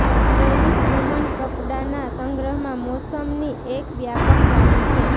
સ્ટ્રેલીશ woman કપડાના સંગ્રહમાં મોસમની એક વ્યાપક ઝાડી છે